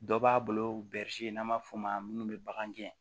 Dɔ b'a bolo n'an b'a fɔ o ma munnu be bagan gɛn